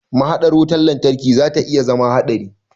Mahaɗar wutar lantarki zata iya zama haɗari.